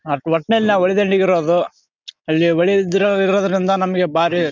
ಆ ಒಟ್ನಲ್ಲಿ ನಾವು ಹೊಳೆದಂಡೆಗಿರೋದು. ಅಲ್ಲಿ ಹೊಳಿದ ಇರೋ ಇರೋದ್ರಿಂದ ನಮಿಗೆ ಬಾರಿ--